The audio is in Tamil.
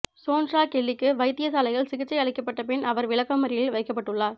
சோன்ட்ரா கெல்லிக்கு வைத்தியசாலையில் சிகிச்சை அளிக்கப்பட்ட பின் அவர் விளக்கமறியலில் வைக்கப்பட்டுள்ளார்